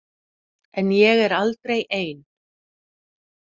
En ég er aldrei ein.